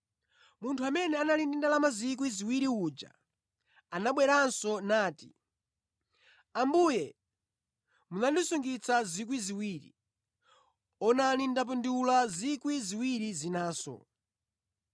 “Munthu amene anali ndi ndalama 2,000 uja anabweranso nati, ‘Ambuye munandisungitsa 2,000, onani, ndapindula 2,000 zinanso.’